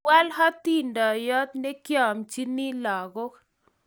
Kiwal hatindiyot negiamchini lagook